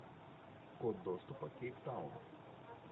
код доступа кейптаун